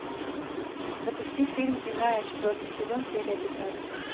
запусти фильм иная четвертый сезон серия пятнадцать